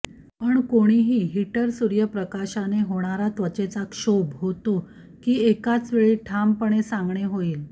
पण कोणीही हीटर सूर्य प्रकाशाने होणारा त्वचेचा क्षोभ होते की एकाच वेळी ठामपणे सांगणे होईल